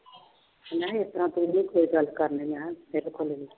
ਮੈਂ ਕਿਹਾ ਇਸ ਤਰ੍ਹਾਂ ਤੂੰ ਨੀ ਕੋਈ ਗੱਲ ਕਰਨੀ ਮੈਂ ਕਿਹਾ ਬਿਲਕੁਲ ਵੀ।